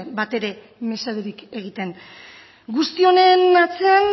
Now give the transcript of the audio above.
batere mesederik egiten guzti honen atzean